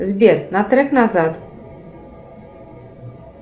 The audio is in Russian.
сбер на трек назад